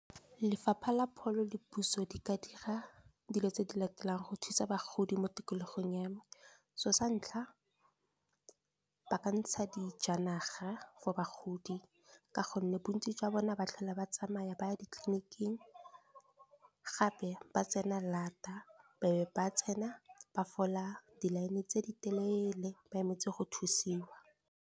Lefapha la pholo le puso di ka dira dilo tse di latelang, go thusa bagodi mo tikologong ya me. So sa ntlha ba ka ntsha dijanaga go bagodi, ka gonne bontsi jwa bone ba tlhole ba tsamaya ba ditleliniking, gape ba tsena lata be ba tsena ba fola di-line tse di telele, ba emetse go thusiwa.